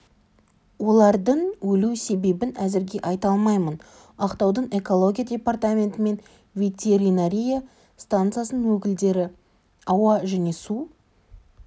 олардың өлу себебін әзірге айта алмаймын ақтаудың экология департаменті мен ветеринария стансасының өкілдері ауа және су